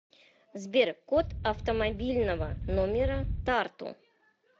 сбер код автомобильного номера тарту